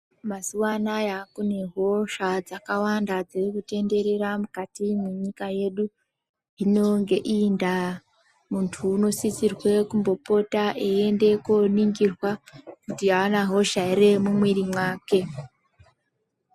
Mazuva anaya kune hosha dzaka wanda dziri ku tenderera mukati mwe nyika yedu hino nge iyi ndaa muntu uno sisirwe kumbo pota eyi ende ko ningirwa kuti ana hosha ere mu mwiri mwake.